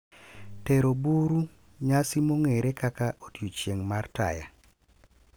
Tero buru, Nyasi mong'ere kaka odiechieng' mar Taya,